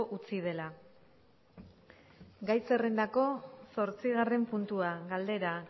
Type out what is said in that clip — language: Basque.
utzi dela gai zerrendako zortzigarren puntua galdera